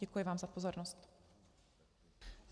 Děkuji vám za pozornost.